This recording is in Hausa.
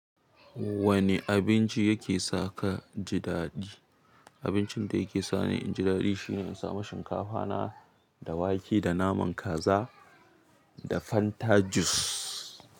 Wanne abinci yake saka ji daɗi? Abincin da yake sani in ji daɗi shine in sa ma shinkafa na da wake da naman kaza da Fanta jus.